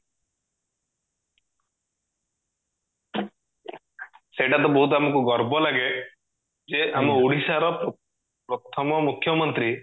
ସେଇଟା ତ ବୋହୁତ ଆମକୁ ଗର୍ବ ଲାଗେ ଯେ ଆମ ଓଡିଶା ର ପ୍ରଥମ ମୁଖ୍ୟମନ୍ତ୍ରୀ